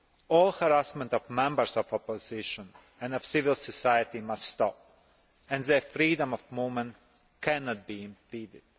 All harassment of members of the opposition, and of civil society must stop, and their freedom of movement cannot be impeded.